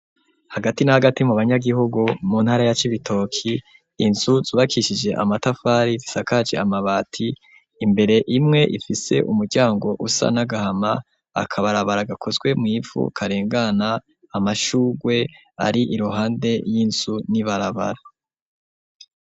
Hagati n'agati mu banyagihugu mu ntara ya cibitoki inzu zubakishije amatafari zisakaci amabati imbere imwe ifise umuryango usa n'agahama akabarabara gakozwe mu ipfu karengana amashugwe ari iruhande y'inzu n'ibarabara.